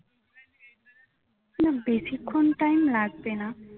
খুব বেশিক্ষণ time লাগবে না